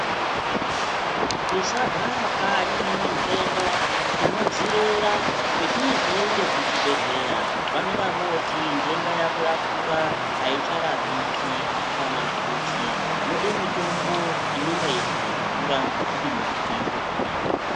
Tisagara kanyi nendenda tinodzirera prtinozoenda kuchibhedhleya vanonga voti ndenda yako yakura aicharapiki kana kuti yode mitombo inonga yechizodhura kuti munthu iiione .